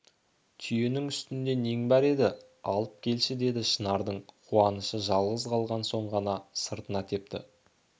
түйенің үстінде нең бар еді алып келші деді шынардың қуанышы жалғыз қалған соң ғана сыртына тепті